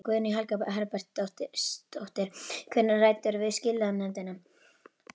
Guðný Helga Herbertsdóttir: Hvenær ræddirðu við skilanefndina?